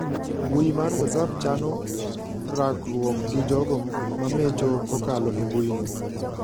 Mbui mar whatsapp chano rakruok gi jogo mamecho kokalo e mbui no.